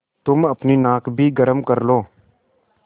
तुम अपनी नाक भी गरम कर लो